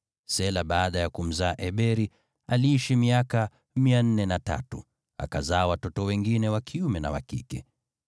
Shela baada ya kumzaa Eberi, aliishi miaka 403, akazaa watoto wengine wa kiume na wa kike.